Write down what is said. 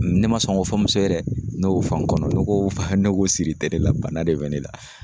Ne ma sɔn ŋ'o fɔ muso ye dɛ, ne y'o fɔ n kɔnɔ ne ko ne ko siri tɛ ne la bana de bɛ ne la.